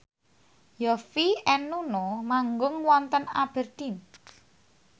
Yovie and Nuno manggung wonten Aberdeen